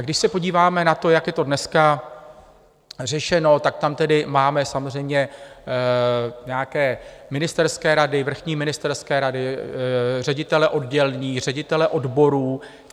A když se podíváme na to, jak je to dneska řešeno, tak tam tedy máme samozřejmě nějaké ministerské rady, vrchní ministerské rady, ředitele oddělení, ředitele odborů.